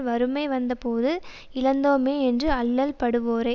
வறுமை வந்த போது இழந்தோமே என்று அல்லல்படுவோரோ